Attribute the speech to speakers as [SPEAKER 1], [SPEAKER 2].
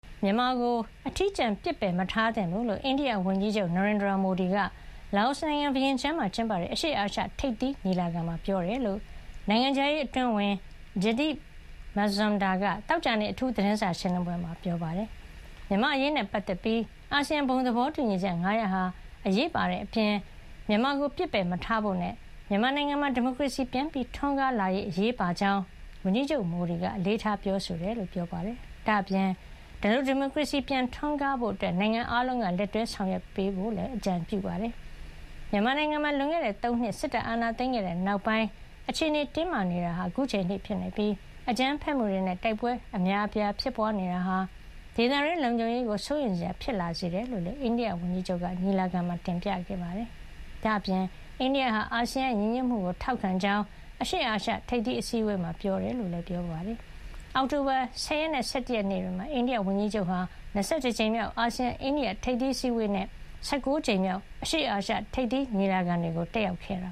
[SPEAKER 1] မြန်မာကို အထီးကျန်အောင် ပစ်ပယ်မထားသင့်ဘူးလို့ အိန္ဒိယဝန်ကြီးချုပ် Narendra Modi က လာအိုနိုင်ငံ ဗီယင်ကျန်းမှာကျင်းပတဲ့ အရှေ့အာရှ ထိပ်သီးညီလာခံမှာ ပြောကြားခဲ့တယ်လို့ နိုင်ငံခြားရေး အတွင်းဝန် Jaideep Mazumdar က သောကြာနေ့ အိန္ဒိယနိုင်ငံခြားရေးဌာန အထူး သတင်းစာရှင်းလင်း ပွဲမှာ ပြောပါတယ်။ မြန်မာ့အရေးနဲ့ ပတ်သက်ပြီး ခေါင်းဆောင် အများအပြားက ပြောသလို အာဆီယံ ဘုံသဘောတူညီချက် ၅ ရပ်ဟာ အရေးပါတဲ့ အပြင် မြန်မာကို ပစ်ပယ်မထားဖို့နဲ့ မြန်မာနိုင်ငံမှာ ဒီမိုကရေစီပြန်ထွန်းကား လာရေးဟာလည်း အရေးပါကြောင်း ဝန်ကြီးချုပ် Modi က အလေးထား ပြောဆိုခဲ့တယ်လို့လည်း ပြောပါတယ်။ ဒါ့ပြင် ဒီလို ဒီမိုကရေစီ ပြန်ထွန်းကား လာဖို့ အတွက် နိုင်ငံ အားလုံးက လက်တွဲ ဆောင်ရွက်ပေးသင့် တယ်လို့လည်း အကြံပြုပါတယ်။ မြန်မာနိုင်ငံမှာ လွန်ခဲ့တဲ့ ၃ နှစ် စစ်တပ်အာဏာသိမ်းခဲ့တဲ့ နောက်ပိုင်း အခြေနေ တင်းမာနေတာဟာ အခုချိန်ထိ ဖြစ်နေပြီး အကြမ်းဖက်မှုတွေနဲ့ တိုက်ပွဲတွေ အများအပြား ဖြစ်ပွါးနေတာဟာ ဒေသတွင်း လုံခြုံရေးကို စိုးရိမ်စရာ ဖြစ်လာစေတယ်လို့လည်း အိန္ဒိယဝန်ကြီးချုပ်က ညီလာခံမှာ တင်ပြခဲ့တာပါ။ ဒါ့အပြင် အိန္ဒိယဟာ အာဆီယံရဲ့ ညီညွတ်မှုကို ထောက်ခံကြောင်း အရှေ့အာရှ ထိပ်သီးအစည်းဝေးမှာ ပြောကြားခဲ့ တယ်လို့ လည်း ပြောပါတယ်။ အောက်တိုဘာ ၁၀ ရက်နဲ့ ၁၁ ရက်နေ့တွေမှာ လာအိုကို သွားရောက်တဲ့ အိန္ဒိယဝန်ကြီးချုပ် Modi ဟာ ဗီယင်ကျန်းမှာ ကျင်းပတဲ့ ၂၁ ကြိမ်မြောက် အာဆီယံ- အိန္ဒိယထိပ်သီးအစည်းဝေးနဲ့ ၁၉ ကြမ်မြောက် အရှေ့အာရှ
[SPEAKER 2] ထိပ်သီးညီလာခံတွေကို တက်ရောက်ခဲ့တ